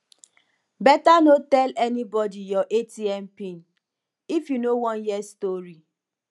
beta no tell anybody your atm pin if you no wan hear story